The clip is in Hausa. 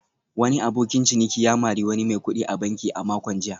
Wani abokin ciniki ya mari wani mai kudi a banki a makon jiya